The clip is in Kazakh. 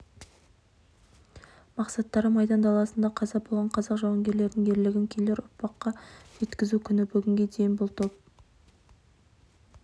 мақсаттары майдан даласында қаза болған қазақ жауынгерлерінің ерлігін келер ұрпаққа жеткізу күні бүгінге дейін бұл топ